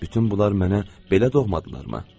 Bütün bunlar mənə belə doğmadırlarmı?